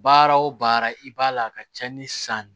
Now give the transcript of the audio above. Baara o baara i b'a la ka cɛnni san